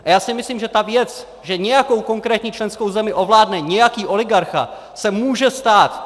A já si myslím, že ta věc, že nějakou konkrétní členskou zemi ovládne nějaký oligarcha, se může stát.